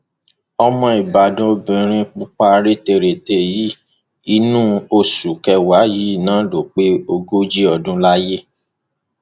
ọmọ ìbàdàn lobìnrin pupa rèterète yìí inú oṣù kẹwàá yìí náà ló pé ogójì ọdún láyé